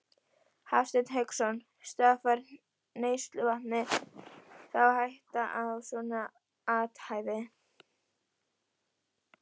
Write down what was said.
Hafsteinn Hauksson: Stafar neysluvatni þá hætta af svona athæfi?